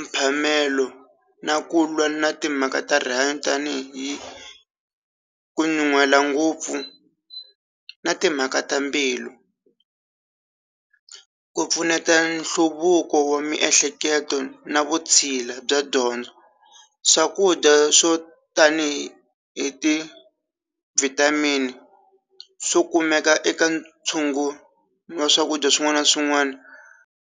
mphamelo na ku lwa na timhaka ta rihanyo tanihi kunyuhela ngopfu na timhaka ta mbilu ku pfuneta nhluvuko wa miehleketo na vutshila bya dyondzo swakudya swo tanihi hi ti vitamin so kumeka eka ntshungu wa swakudya swin'wana na swin'wana.